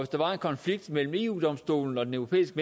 der var en konflikt mellem eu domstolen og den europæiske